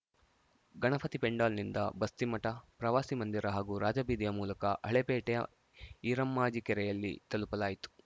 ಗಣಪತಿ ಪೆಂಡಾಲ್‌ನಿಂದ ಬಸ್ತಿಮಠ ಪ್ರವಾಸಿ ಮಂದಿರ ಹಾಗೂ ರಾಜಬೀದಿಯ ಮೂಲಕ ಹಳೇಪೇಟೆಯ ಈರಮ್ಮಾಜಿ ಕೆರೆಯಲ್ಲಿ ತಲುಪಲಾಯಿತು